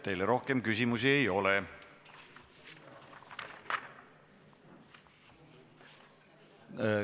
Teile rohkem küsimusi ei ole.